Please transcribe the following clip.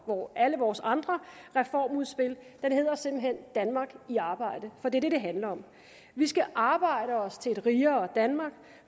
alle vores andre reformudspil den hedder simpelt hen danmark i arbejde for det er det det handler om vi skal arbejde os til et rigere danmark